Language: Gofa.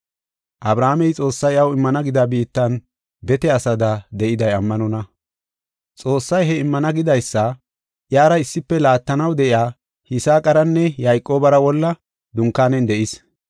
Abrahaamey Xoossay iyaw immana gida biittan bete asada de7iday ammanonna. Xoossay he immana gidaysa iyara issife laattanaw de7iya Yisaaqaranne Yayqoobara wolla dunkaanen de7is.